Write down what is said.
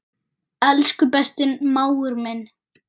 Elsku besti mágur minn.